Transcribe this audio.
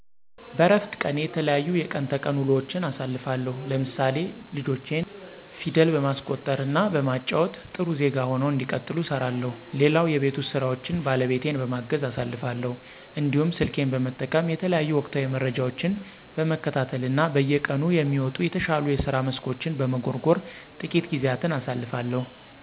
በረፍት ቀኔ የተለያዩ የቀን ተቀን ውሎዎችን አሳልፋለሁ ለምሳሌ ልጆቼን ፊደል በማስቆጠር እና በማጫዎት ጥሩ ዜጋ ሁነው እንዲቀጥሉ እሰራለሁ። ሌላው የቤት ውስጥ ስራዎችን ባለቤቴን በማገዝ አሳልፋለሁ። እንዲሁም ስልኬን በመጠቀም የተለያዩ ወቅታዊ መረጃዎችን በመከታተል እና በየቀኑ የሚወጡ የተሻሉ የስራ መስኮችን በመጎርጎር ትቂት ጊዜያትን አሳልፋለሁ።